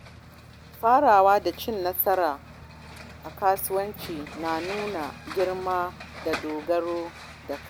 Farawa da cin nasara a kasuwanci na nuna girma da dogaro da kai.